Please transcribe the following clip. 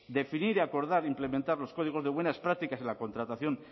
definir y acordar o implementar los códigos de buenas prácticas en la contratación